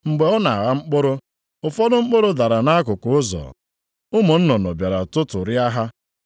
Mgbe ọ na-agha mkpụrụ, ụfọdụ mkpụrụ dara nʼakụkụ ụzọ, ụmụ nnụnụ bịara tụtụrịa ha.